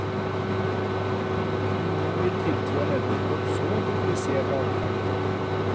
Ingen ville tiltro en edderkopp så komplisert adferd.